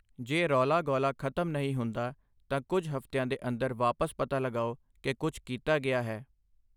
ਜੇ ਰੌਲਾ ਗੌਲਾ ਖਤਮ ਨਹੀਂ ਹੁੰਦਾ ਤਾਂ ਕੁਝ ਹਫ਼ਤਿਆਂ ਦੇ ਅੰਦਰ ਵਾਪਸ ਪਤਾ ਲਗਾਓ ਕਿ ਕੁਛ ਕੀਤਾ ਗਿਆ ਹੈ।